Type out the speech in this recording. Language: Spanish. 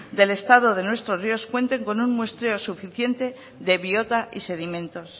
del estado de nuestros ríos cuenten con un muestreo suficiente de biota y sedimentos